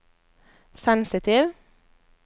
sensitiv